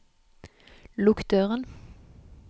lukk døren